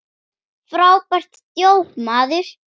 Frábært djók, maður!